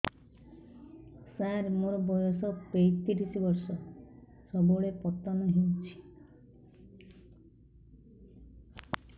ସାର ମୋର ବୟସ ପୈତିରିଶ ବର୍ଷ ସବୁବେଳେ ପତନ ହେଉଛି